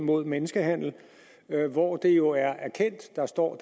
imod menneskehandel hvor det jo er erkendt der står